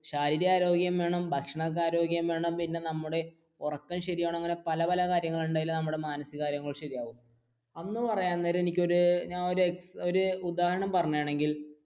ശാരീരിക ആരോഗ്യം വേണം, ഭക്ഷണ ആരോഗ്യം വേണം, പിന്നെ നമ്മുടെ ഉറക്കം ശരിയാക്കണം അങ്ങനെ പല പല കാര്യങ്ങളുണ്ട് എങ്കിലേ നമ്മുടെ മാനസിക ആരോഗ്യം ശരിയാവുകയുള്ളു. എന്ന് പറയാൻ നേരം ഞാൻ ഒരു ഒരു ഉദാഹരണം പറയുകയാണെങ്കിൽ